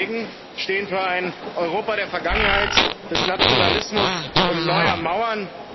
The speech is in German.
Sie hingegen stehen für ein Europa der Vergangenheit, des Nationalismus und neuer Mauern.